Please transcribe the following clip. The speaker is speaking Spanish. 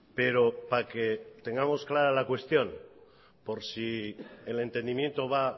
pero para que tengamos clara la cuestión por si el entendimiento va